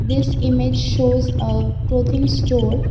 this image shows a clothing store.